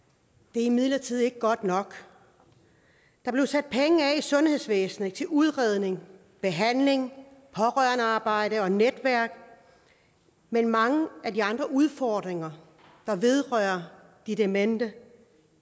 det er imidlertid ikke godt nok der blev sat penge af i sundhedsvæsenet til udredning behandling pårørendearbejde og netværk men mange af de andre udfordringer der vedrører de demente